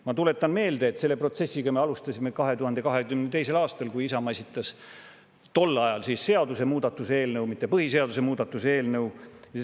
Ma tuletan meelde, et selle protsessiga me alustasime 2022. aastal, kui Isamaa tol ajal esitas seadusemuudatuse eelnõu, mitte põhiseaduse muutmise eelnõu.